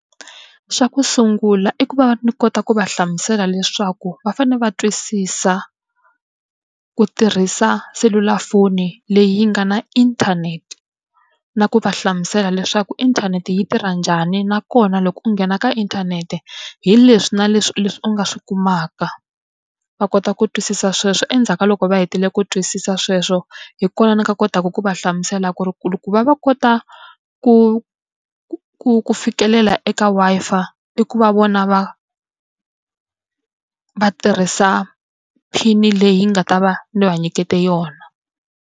Xa ku sungula i ku va ni kota ku va hlamusela leswaku va fanele va twisisa ku tirhisa selulafoni leyi yi nga na inthanete, na ku va hlamusela leswaku inthanete yi tirha njhani nakona loko u nghena ka inthanete hi leswi na leswi leswi u nga swi kumaka, va kota ku twisisa sweswo. Endzhaku ka loko va hetile ku twisisa sweswo, hi kona ni nga kotaka ku va hlamusela ku ri ku va va kota ku ku ku ku fikelela eka Wi-Fi ku va vona va va tirhisa PIN-i leyi yi nga ta va ni va nyiketa yona.